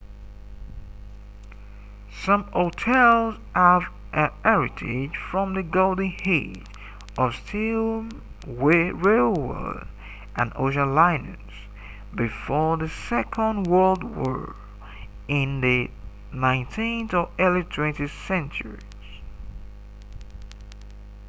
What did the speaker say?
some hotels have a heritage from the golden age of steam railways and ocean liners before the second world war in the 19th or early 20th centuries